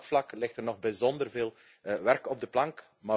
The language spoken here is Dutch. Ook op dat vlak ligt er nog bijzonder veel werk op de plank.